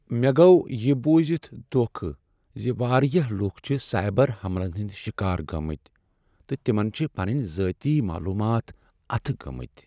مےٚ گوو یِہ بوٗزِتھ دۄکھ ز واریاہ لکھ چھ سائبر حملن ہند شکار گٔمٕتۍ تہٕ تمن چھِ پنٕنۍ ذٲتی معلومات اتھہٕ گٲمتۍ۔